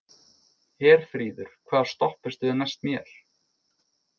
Herfríður, hvaða stoppistöð er næst mér?